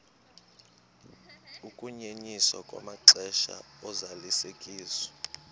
ukunyenyiswa kwamaxesha ozalisekiso